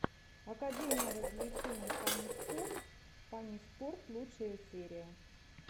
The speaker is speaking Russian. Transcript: академия развлечений фанниспорт фанниспорт лучшая серия